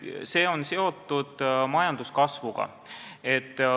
See on seotud majanduskasvuga.